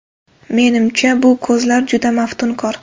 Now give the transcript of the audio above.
Menimcha, bu ko‘zlar juda maftunkor”.